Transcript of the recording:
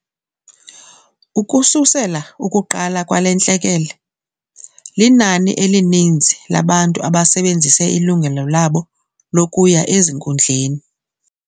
Ukususela ukuqala kwale ntlekele, linani elininzi labantu abasebenzise ilungelo labo lokuya ezinkundleni.